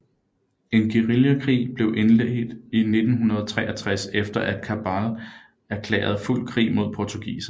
En guerillakrig blev indledt i 1963 efter at Cabral erklærede fuld krig mod portugiserne